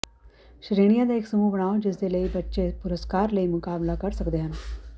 ਸ਼੍ਰੇਣੀਆਂ ਦਾ ਇਕ ਸਮੂਹ ਬਣਾਓ ਜਿਸ ਦੇ ਲਈ ਬੱਚੇ ਪੁਰਸਕਾਰ ਲਈ ਮੁਕਾਬਲਾ ਕਰ ਸਕਦੇ ਹਨ